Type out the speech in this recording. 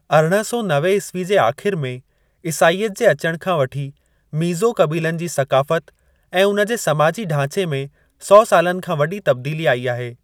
अरिड़हं सौ नवे ईस्वी जे आख़िर में ईसाईयत जे अचणु खां वठी मीज़ो क़बीलनि जी सक़ाफ़त ऐं उन जे समाजी ढांचे में सौ सालनि खां वॾी तब्दीली आई आहे।